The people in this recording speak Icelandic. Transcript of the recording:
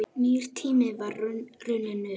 Nýr tími var runninn upp.